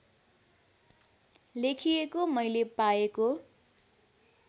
लेखिएको मैले पाएको